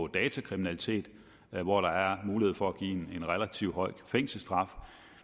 datakriminalitet hvor der er mulighed for at give en relativt høj fængselsstraf